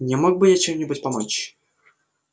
не мог бы я чем-нибудь помочь